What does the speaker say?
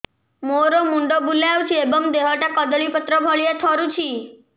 ମୋର ମୁଣ୍ଡ ବୁଲାଉଛି ଏବଂ ଦେହଟା କଦଳୀପତ୍ର ଭଳିଆ ଥରୁଛି